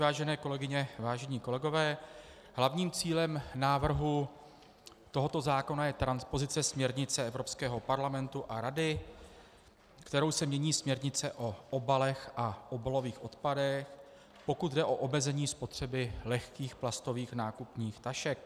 Vážené kolegyně, vážení kolegové, hlavním cílem návrhu tohoto zákona je transpozice směrnice Evropského parlamentu a Rady, kterou se mění směrnice o obalech a obalových odpadech, pokud jde o omezení spotřeby lehkých plastových nákupních tašek.